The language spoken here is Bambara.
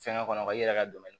Fɛngɛ kɔnɔ wa i yɛrɛ ka